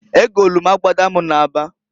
Egolu m abada m na aba.